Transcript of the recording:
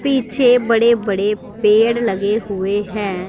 पीछे बड़े बड़े पेड़ लगे हुए हैं।